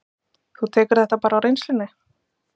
Þú tekur þetta bara á reynslunni?